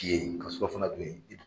I ye ka sura fana dun yen